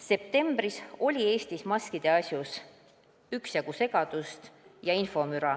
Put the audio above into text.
Septembris oli Eestis maskide asjus üksjagu segadust ja infomüra.